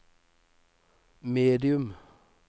medium